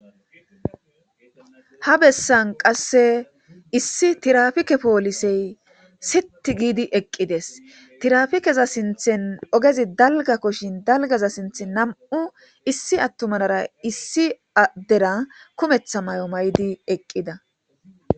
ha bessan qasse issi tirafike poolisey setti giidi eqqides tirafikeza sinthen ogezi dalga koshin dalgaza sinthe nam7u issi attumanara issi addera kumetha may7o may7di eqqida